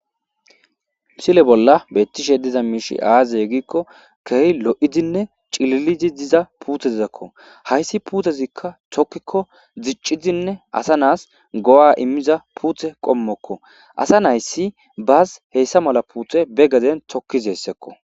Misile bolla beettishe diza miishshi azee gikko keehi lo'oidinne cillilidii diza puutezakko hayssi puutezikka diccidinne asanas go'a iimiza puutte qoommokko asa nayi bas ba gaden tookiza puutte qoommokko